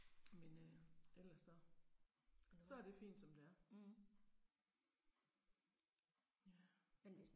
Men øh, ellers så. Så er det fint som det er. Ja